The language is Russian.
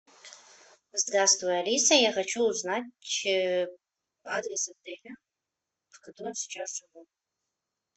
здравствуй алиса я хочу узнать адрес отеля в котором сейчас живу